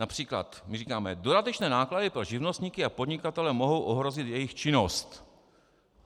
Například my říkáme: dodatečné náklady pro živnostníky a podnikatele mohou ohrozit jejich činnost.